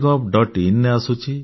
MyGovin ରେ ଆସୁଛି